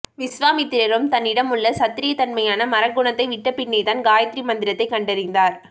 விஸ்வாமித்திரரும் தன்னிடமுள்ள சத்திரியத் தன்மையான மறக்குணத்தை விட்டப் பின்னேதான் காயத்திரி மந்திரத்தைக் கண்டறிந்தார்